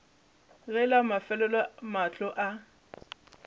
ge la mafelelo mahlo a